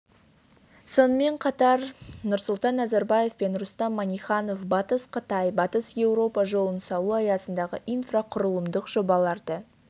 сонымен қатар нұрсұлтан назарбаев пен рустам минниханов батыс қытай батыс еуропа жолын салу аясындағы инфрақұрылымдық жобаларды